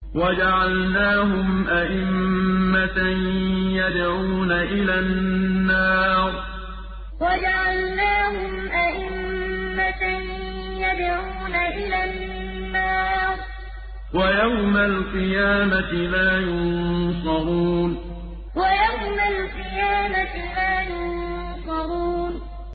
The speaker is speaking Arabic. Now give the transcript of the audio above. وَجَعَلْنَاهُمْ أَئِمَّةً يَدْعُونَ إِلَى النَّارِ ۖ وَيَوْمَ الْقِيَامَةِ لَا يُنصَرُونَ وَجَعَلْنَاهُمْ أَئِمَّةً يَدْعُونَ إِلَى النَّارِ ۖ وَيَوْمَ الْقِيَامَةِ لَا يُنصَرُونَ